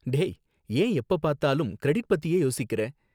டேய், ஏன் எப்பப் பார்த்தாலும் கிரெடிட் பத்தியே யோசிக்குற?